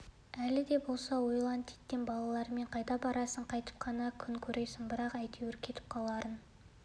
әлі де болса ойлан титтей балалармен қайда барасың қайтіп қана күн көресің бірақ әйтеуір кетіп қаларын